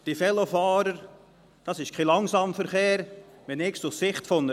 Diese Velofahrer sind kein Langsamverkehr, wenn ich es aus Sicht einer Kuh betrachte.